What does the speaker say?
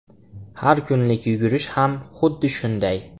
Har kunlik yugurish ham xuddi shunday.